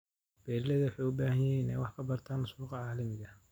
Beeralayda waxay u baahan yihiin inay wax ka bartaan suuqyada caalamiga ah.